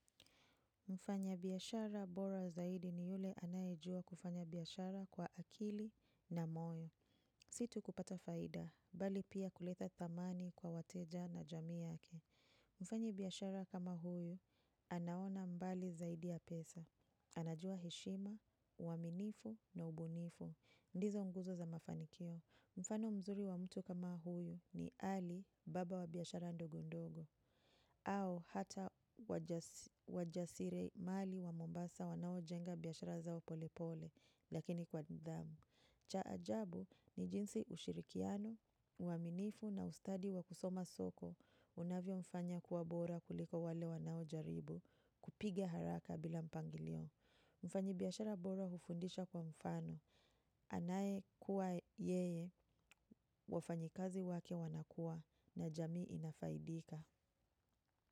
Mfanya biashara bora zaidi ni yule anajua kufanya biashara kwa akili na moyo. Sio tu kupata faida, bali pia kuleta thamani kwa wateja na jamii yake. Mfanyi biashara kama huyu, anaona mbali zaidi ya pesa. Anajua heshima, uaminifu na ubunifu. Ndizo nguzo za mafanikio. Mfano mzuri wa mtu kama huyu ni Ali, baba wa biashara ndogo ndogo. Au hata wajasirimali wa mombasa wanaojenga biashara zao pole pole, lakini kwa nidhamu. Cha ajabu ni jinsi ushirikiano, uaminifu na ustadi wa kusoma soko, unavyomfanya kuwa bora kuliko wale wanaojaribu, kupiga haraka bila mpangilio. Mfanyi biashara bora hufundisha kwa mfano, anayekuwa yeye, wafanyakazi wake wanakuwa na jamii inafaidika.